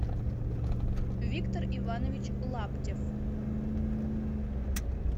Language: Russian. виктор иванович лаптев